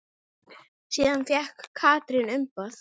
Síðan fékk Katrín umboð.